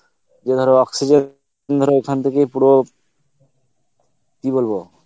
যে ধর oxygen, ধর ওই খান থেকেই পুরো, কি বলবো